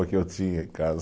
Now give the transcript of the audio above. Que eu tinha em casa.